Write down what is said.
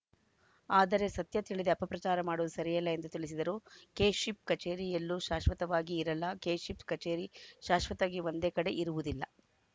ಆದರೆ ಸತ್ಯ ತಿಳಿಯದೇ ಅಪಪ್ರಚಾರ ಮಾಡುವುದು ಸರಿಯಲ್ಲ ಎಂದು ತಿಳಿಸಿದರು ಕೆಶಿಪ್‌ ಕಚೇರಿ ಎಲ್ಲೂ ಶಾಶ್ವತವಾಗಿ ಇರಲ್ಲ ಕೆಶಿಪ್‌ ಕಚೇರಿ ಶಾಶ್ವತವಾಗಿ ಒಂದೇ ಕಡೆ ಇರುವುದಿಲ್ಲ